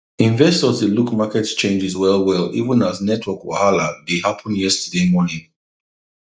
investors dey look market changes well well even as network wahala dey happen yesterday morning